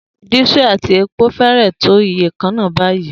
Diesel àti epo fẹ́rẹ̀ẹ́ tó iye kan náà báyìí.